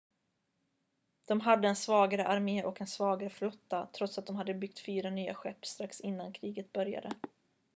de hade en svagare armé och en svagare flotta trots att de hade byggt fyra nya skepp strax innan kriget började